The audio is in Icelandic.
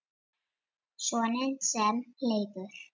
Soninn sem Leifur